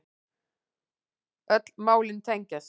Öll málin tengjast